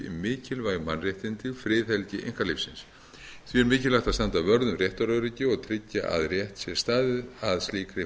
mikilvæg mannréttindi friðhelgi einkalífsins því er mikilvægt að standa vörð um réttaröryggi og tryggja að rétt sé staðið að slíkri